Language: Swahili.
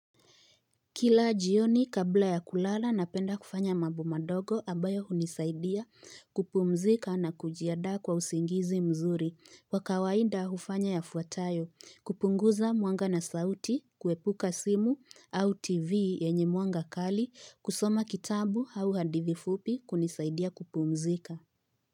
Kila jioni kabla ya kulala napenda kufanya mambo mandogo ambayo hunisaidia kupumzika na kujiandaa kwa usingizi mzuri. Kwa kawaida hufanya yafuatayo: kupunguza mwanga na sauti, kuepuka simu au tv yenye mwanga kali, kusoma kitabu au hadithi fupi kunisaidia kupumzika.